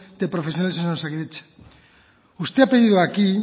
de profesionales en osakidetza usted ha pedido aquí